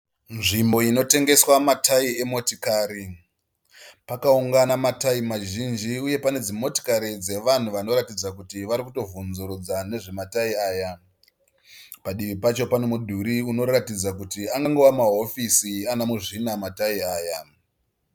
Nzvimbo inotengeswa matayi emotikari. Pakaungana matayi mazhinji uye dzimototikari dzevanhu vari kuratidza kuti vari kubvunzurudza nezvematayi aya. Padivi pacho pane mudhuri unoratadza kuti angova mahofisi ana muzvina matayi aya.